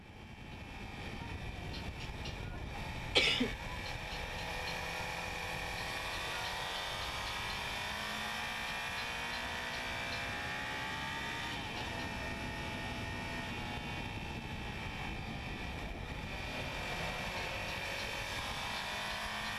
Itophiyu Malaatu Afii Roso albaanni Badheenni Assoote Itophiyu Malaatu Afii Roso albaanni Badheenni Assoote Itophiyu Malaatu Afii Roso albaanni Badheenni.